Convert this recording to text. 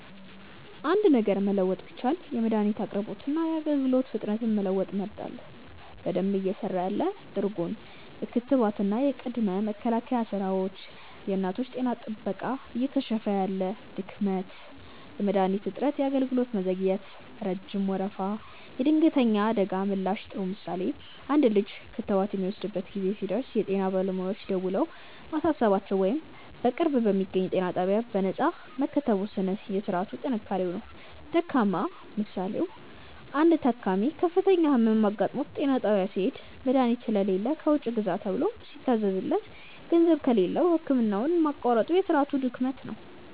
.አንድ ነገር መለወጥ ቢቻል የመድኃኒት አቅርቦትንና የአገልግሎት ፍጥነትን መለወጥ እመርጣለሁ። በደንብ እየሰራ ያለ (ጥሩ ጎን) .የክትባትና የቅድመ መከላከል ሥራዎች .የእናቶች ጤና ጥበቃ እየከሸፈ ያለ (ድክመት) .የመድኃኒት እጥረት .የአገልግሎት መዘግየት (ረጅም ወረፋ) .የድንገተኛ አደጋ ምላሽ ጥሩ ምሳሌ፦ አንድ ልጅ ክትባት የሚወስድበት ጊዜ ሲደርስ የጤና ባለሙያዎች ደውለው ማሳሰባቸው ወይም በቅርብ በሚገኝ ጤና ጣቢያ በነፃ መከተቡ የሥርዓቱ ጥንካሬ ነው። ደካማ ምሳሌ፦ አንድ ታካሚ ከፍተኛ ሕመም አጋጥሞት ጤና ጣቢያ ሲሄድ፣ መድኃኒት ስለሌለ ከውጭ ግዛ ተብሎ ሲታዘዝለት፤ ገንዘብ ከሌለው ሕክምናውን ማቋረጡ የሥርዓቱ ድክመት ነው።